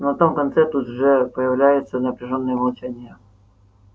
на том конце тут же появляется напряжённое молчание